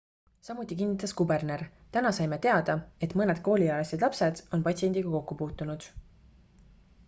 samuti kinnitas kuberner täna saime teada et mõned kooliealised lapsed on patsiendiga kokku puutunud